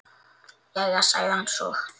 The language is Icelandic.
Jæja, sagði hann svo.